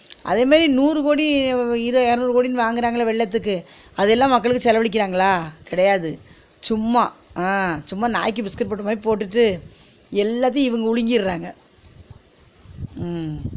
அதே மாதிரி நூறு கோடி இத இரநூறு கோடின்னு வாங்குறாங்கள வெள்ளத்துக்கு அதெல்லா மக்களுக்கு செலவழிக்கிராங்களா? கெடயாது சும்மா ஆஹ் சும்மா நாய்க்கு பிஸ்கட் போட்ட மாறி போட்டுட்டு எல்லாத்தையு இவுங்க வுழுங்கிறாங்க உம்